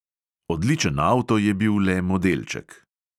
Odličen avto je bil le modelček.